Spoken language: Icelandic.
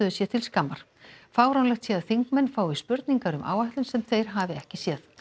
sé til skammar fáránlegt sé að þingmenn fái spurningar um áætlun sem þeir hafi ekki séð